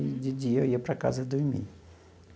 E de dia eu ia para casa dormir.